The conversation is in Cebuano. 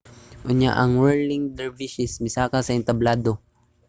unya ang whirling dervishes misaka sa entablado